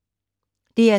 DR2